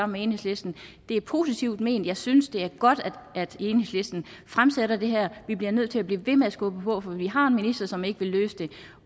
med enhedslisten det er positivt ment jeg synes det er godt at enhedslisten fremsætter det her vi bliver nødt til at blive ved med at skubbe på for vi har en minister som ikke vil løse det